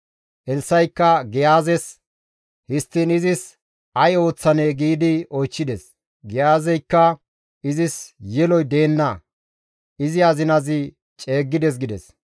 Elssa7ikka Giyaazes, «Histtiin izis ay ooththanee?» giidi oychchides; Giyaazeykka, «Izis yeloy deenna; izi azinazi ceeggides» gides.